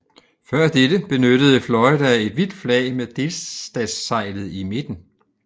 Før dette benyttede Florida et hvidt flag med delstatsseglet i midten